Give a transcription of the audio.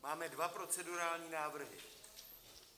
Máme dva procedurální návrhy.